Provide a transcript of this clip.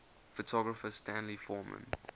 photographer stanley forman